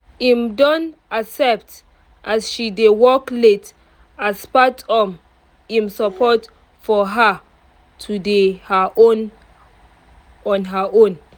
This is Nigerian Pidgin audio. im don accept as she dey work late as part of im support for her to dey her own on her own